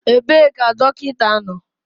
Ebee ka dọkịta nọ?